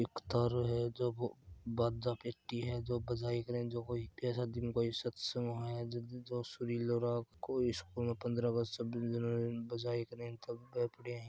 एक तारो है जो बाजापेटी है बजाए कर है बया सादी मे सत्संग को सुरीली राग को यो पन्द्रह अगस्त चाबीस जनवरी न बजाए कर तब बे पड़ा है।